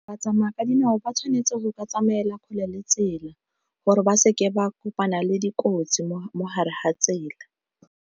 Ba tsamaya ka dinao ba tshwanetse go ka tsamaela kgole le tsela gore ba seke ba kopana le dikotsi mo hare ha tsela.